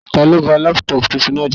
Taló ba lápútọ̀pù tuntun náà jẹ́?